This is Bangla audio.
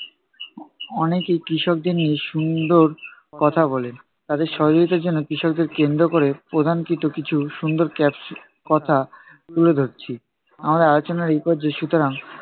অনেকেই কৃষকদের নিয়ে সুন্দর কথা বলেন। তাদের সহযোগিতার জন্য কৃষকদের কেন্দ্র কোরে প্রদানকৃত কিছু সুন্দর caption কথা তুলে ধরছি আমাদের আলোচনার এই পর্যায়ে। সুতরাং